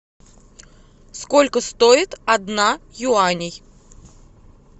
сколько стоит одна юаней